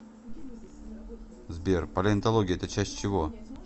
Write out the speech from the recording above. сбер палеонтология это часть чего